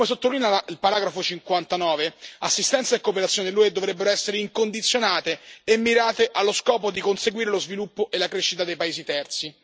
Come sottolinea il paragrafo 59, assistenza e cooperazione dell'UE dovrebbero essere incondizionate e mirate allo scopo di conseguire lo sviluppo e la crescita dei paesi terzi.